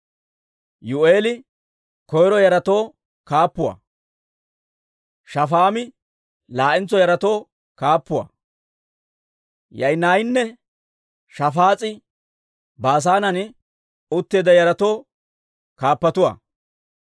Yuu'eeli koyro yaratoo kaappuwaa; Shafaami laa'entso yaratoo kaappuwaa. Yaa'inaaynne Shafaas'i Baasaanen utteedda yaratoo kaappatuwaa.